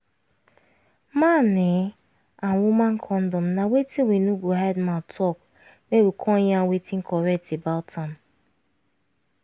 man ehnn and woman condom na wetin we no go hide mouth talk make we come yarn wetin correct about am